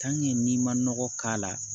n'i ma nɔgɔ k'a la